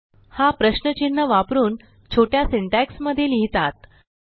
हा प्रश्नचिन्ह वापरून छोट्या सिंटॅक्स मध्ये लिहितात